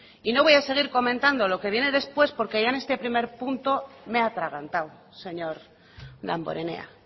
y no voy a seguir comentando lo que viene después porque ya en este primer punto me he atragantado señor damborenea